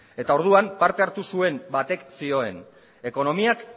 orduan parte hartu zuen batek zioen ekonomiak